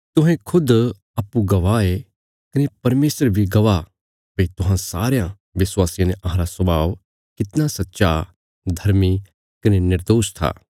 तुहें खुद इ गवाह ये कने परमेशर बी गवाह भई तुहां सारयां विश्वासियां ने अहांरा स्वाभाव कितना सच्चा धर्मी कने निर्दोष था